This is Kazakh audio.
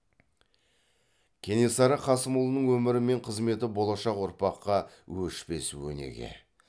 кенесары қасымұлының өмірі мен қызметі болашақ ұрпаққа өшпес өнеге